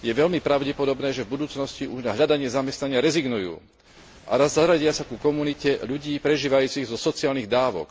je veľmi pravdepodobné, že v budúcnosti už na hľadanie zamestnania rezignujú a zaradia sa ku komunite ľudí prežívajúcich zo sociálnych dávok.